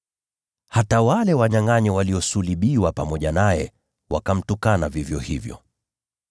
Hata wale wanyangʼanyi waliosulubiwa pamoja naye wakamtukana vivyo hivyo.